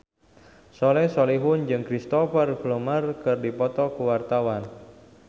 Soleh Solihun jeung Cristhoper Plumer keur dipoto ku wartawan